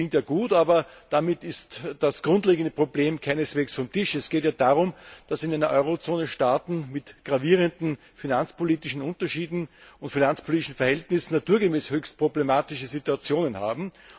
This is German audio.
Das klingt zwar gut, aber damit ist das grundlegende Problem keineswegs vom Tisch. Es geht ja darum, dass in der Eurozone Staaten mit gravierenden finanzpolitischen Unterschieden und schwierigen finanzpolitischen Verhältnissen naturgemäß höchst problematische Situationen haben.